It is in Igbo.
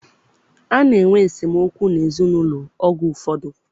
A na-enwe esemokwu n'ezinaụlọ oge ụfọdụ.